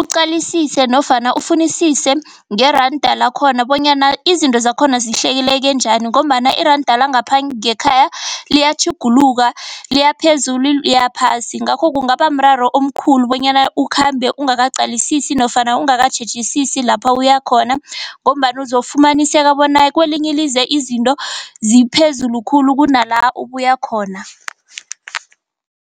uqalisise nofana ufunisise ngeranda lakhona bonyana izinto zakhona zihleleke njani, ngombana iranda langapha ngekhaya liyatjhuguluka. Liyaphezulu liyaphasi, ngakho kungaba mraro omkhulu bonyana ukhambe ungakaqalisisi nofana ungakatjhejisisi lapho uyakhona ngombana uzofumaniseka bona kwelinye ilizwe izinto ziphezulu khulu kunala ubuya khona.